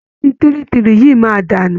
Ọtí 33 yìí máa dànù